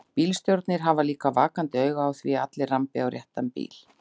Bílstjórarnir hafa líka vakandi auga á því að allir rambi á réttan bíl.